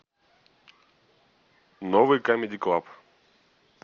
новый камеди клаб